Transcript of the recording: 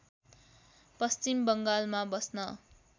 पश्चिम बङ्गालमा बस्न